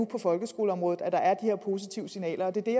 på folkeskoleområdet er her positive signaler det er